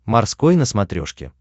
морской на смотрешке